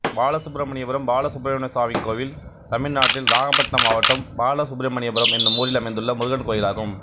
பாலசுப்ரமணியபுரம் பாலசுப்ரமணியசுவாமி கோயில் தமிழ்நாட்டில் நாகபட்டினம் மாவட்டம் பாலசுப்ரமணியபுரம் என்னும் ஊரில் அமைந்துள்ள முருகன் கோயிலாகும்